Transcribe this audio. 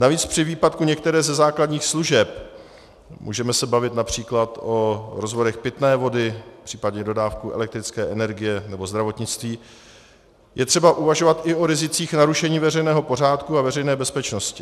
Navíc při výpadku některé ze základních služeb - můžeme se bavit například o rozvodech pitné vody, případně dodávce elektrické energie nebo zdravotnictví - je třeba uvažovat i o rizicích narušení veřejného pořádku a veřejné bezpečnosti.